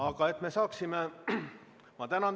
Ma tänan teid!